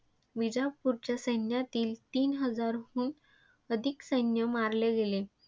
विजापूरच्या सैन्यातील तीन हजाराहून अधिक सैन्य मारले गेले.